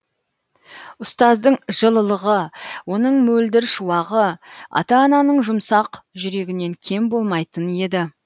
ұстаздың жылылығы оның мөлдір шуағы ата ананың жұмсақ жүрегінен кем болмайтын еді